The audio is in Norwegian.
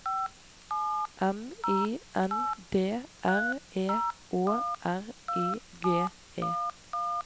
M I N D R E Å R I G E